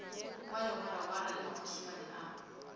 wa legwaragwara le maphusumane a